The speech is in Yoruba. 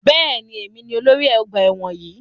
Bẹ́ẹ̀ni, èmi ni olórí ọgbà ẹ̀wọ̀n yìí.